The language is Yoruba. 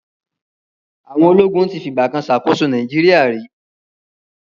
Àwọn ológun ti fi ìgbà kan ṣàkóso Nigeria rí.